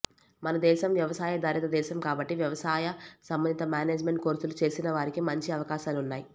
మనదేశం వ్యవసాయాధారిత దేశం కాబట్టి వ్యవసాయ సంబంధిత మేనేజ్మెంట్ కోర్సులు చేసినవారికీ మంచి అవకాశాలున్నాయి